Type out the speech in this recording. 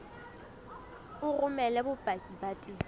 o romele bopaki ba tefo